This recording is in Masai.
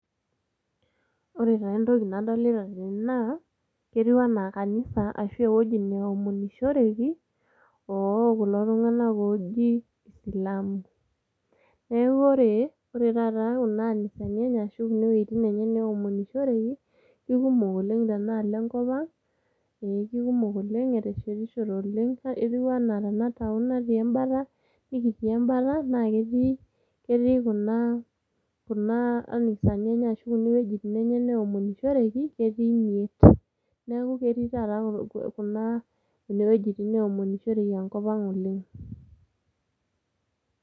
Ore taa entoki nadolita tene naa, ketiu enaa kanisa ashu ewueji neomonishoreki ookulo tung'anak ooji isilamu, neeku ore taata kuna anisani enye ashu kuna wuejitin enye neomonishoreki kekumok oleng' tenaalo enkop ang' ee kumok oleng' eteshetishote oleng' etiu enaa tenda town nikitii embata naa ketii kuna anisani ashu kuna wuejitin enye naomonishoreki, neeku ketii ineweuji enkop kuna weujitin neeomonishoreki oleng'.